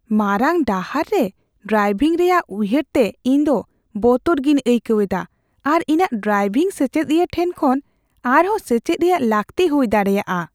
ᱢᱟᱨᱟᱝ ᱰᱟᱦᱟᱨ ᱨᱮ ᱰᱨᱟᱵᱷᱤᱝ ᱨᱮᱭᱟᱜ ᱩᱭᱦᱟᱹᱨ ᱛᱮ ᱤᱧ ᱫᱚ ᱵᱚᱛᱚᱨ ᱜᱤᱧ ᱟᱹᱭᱠᱟᱹᱣ ᱮᱫᱟ ᱟᱨ ᱤᱧᱟᱹᱜ ᱰᱨᱟᱭᱵᱷᱤᱝ ᱥᱮᱪᱮᱫᱤᱭᱟᱹ ᱴᱷᱮᱱ ᱠᱷᱚᱱ ᱟᱨᱦᱚᱸ ᱥᱮᱪᱮᱫ ᱨᱮᱭᱟᱜ ᱞᱟᱹᱠᱛᱤ ᱦᱩᱭ ᱫᱟᱲᱮᱭᱟᱜᱼᱟ ᱾